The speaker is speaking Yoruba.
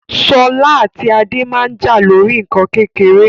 Sola ati Ade maa n ja lori nkan kekere